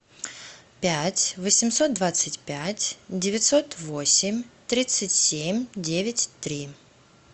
пять восемьсот двадцать пять девятьсот восемь тридцать семь девять три